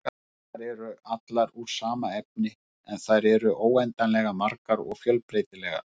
Eindirnar eru allar úr sama efni, en þær eru óendanlega margar og fjölbreytilegar.